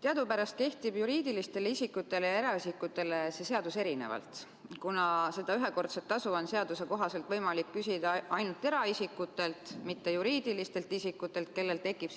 Teadupärast kehtib juriidilistel isikutel ja eraisikutel see seadus erinevalt, kuna seda ühekordset tasu on seaduse kohaselt võimalik küsida ainult eraisikutelt, mitte juriidilistelt isikutelt, kellel tekib